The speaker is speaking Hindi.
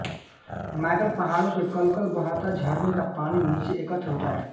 मैकल पहाड़ों से कलकल बहता झरने का पानी नीचे एकत्र होता है